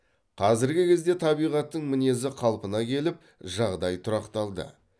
қазіргі кезде табиғаттың мінезі қалпына келіп жағдай тұрақталды